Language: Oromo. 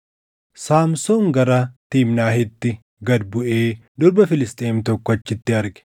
Saamsoon gara Tiimnaahitti gad buʼee durba Filisxeem tokko achitti arge.